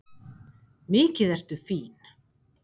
Mikið ertu fín!